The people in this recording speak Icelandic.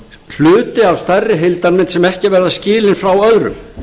hluti af stærri heildarmynd sem ekki verður skilin frá öðrum